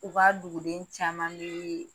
U ka duguden caman b'i ye.